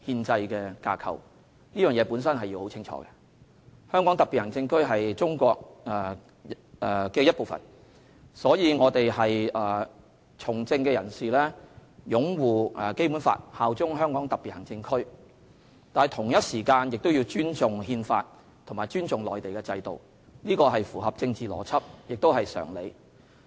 香港特別行政區是中華人民共和國的一部分，所以從政人士必須擁護《基本法》和效忠香港特別行政區，同時必須尊重《憲法》和內地的制度，這才合乎政治邏輯和常理。